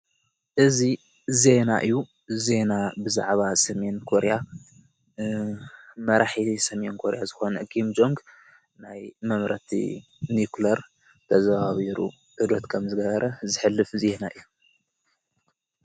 እዙ ዜና እዩ ዜና ብዛዕባ ሰሜን ኮርያ መራሒ ሰሜን ኮርያ ዝኾነ ጊምጆንግ ናይ መምረቲ ኒዉክለር ተዘዋዊሩ ዕዶት ከም ዝነበረ ዝሕልፍ ዜና እዩ።